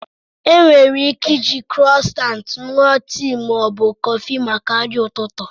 E nwere ike iji krosant ṅụọ tii ma ọ bụ kọfị maka nri ụtụtụ.